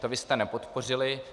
To vy jste nepodpořili.